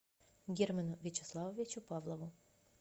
герману вячеславовичу павлову